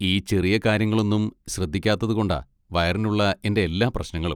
ഈ ചെറിയ കാര്യങ്ങളൊന്നും ശ്രദ്ധിക്കാത്തത് കൊണ്ടാ വയറിനുള്ള എൻ്റെ എല്ലാ പ്രശ്നങ്ങളും.